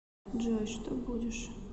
джой что будешь